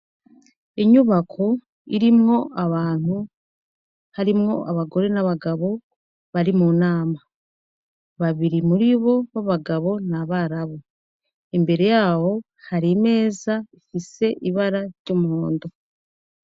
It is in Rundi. Inyubako irimwo abantu harimwo abagore n'abagabo, bari mu nama. Babiri muribo ba bagabo ni abarabu. Imbere y'aho, har'imeza ifise ibara ry'umuhondo.